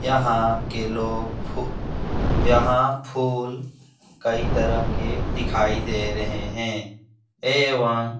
यहाँ के लोग फू यहाँ फूल कई तरह के दिखाए दे रहें हैं एवं --